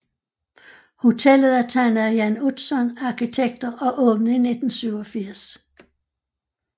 Hotellet er tegnet af Jan Utzon Arkitekter og åbnede i 1987